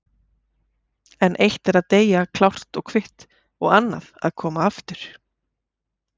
En eitt er að deyja klárt og kvitt og annað að koma aftur.